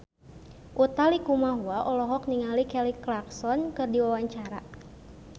Utha Likumahua olohok ningali Kelly Clarkson keur diwawancara